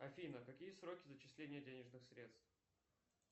афина какие сроки зачисления денежных средств